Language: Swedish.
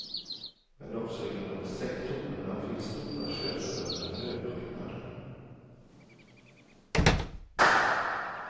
Men också inom sektorerna finns stora könsbundna löneskillnader.